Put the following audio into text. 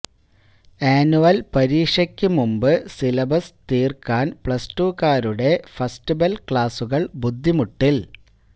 annual പരീക്ഷയ്ക്കു മുമ്പ് syllabus തീർക്കാൻ പ്ലസ്ടുക്കാരുടെ ഫസ്റ്റ് ബെൽ ക്ലാസുകൾ ബുദ്ധിമുട്ടിൽ